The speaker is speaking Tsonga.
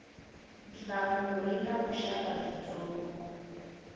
nhlamulo yi na vuxaka byitsongo